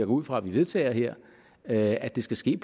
ud fra vi vedtager her at det skal ske